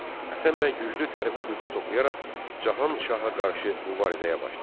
Həsənbəy güclü tərbi qüvvə toplayaraq Cahan Şaha qarşı mübarizəyə başladı.